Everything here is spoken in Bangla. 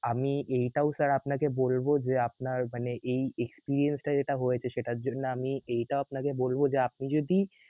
আমি এইটাও sir আপনাকে বলব যে আপনার মানে এই experience টা যেটা হয়েছে সেটার জন্য আমি এইটাও আপনাকে বলব যে আপনি যদি